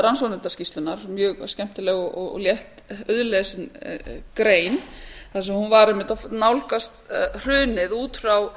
rannsóknarskýrslunnar mjög skemmtileg og létt auðlesna grein þar sem hún var einmitt að nálgast hrunið út frá